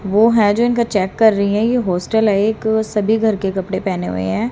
वो है जो इनका चेक कर रही हैं ये होस्टल है एक सभी घर के कपड़े पेहने हुई हैं।